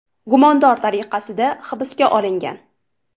gumondor tariqasida hibsga olingan.